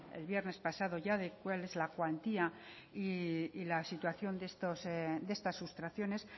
el viernes pasado ya de cuál es la cuantía y la situación de estas sustracciones